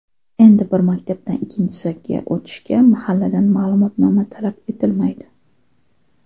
Endi bir maktabdan ikkinchisiga o‘tishda mahalladan ma’lumotnoma talab etilmaydi.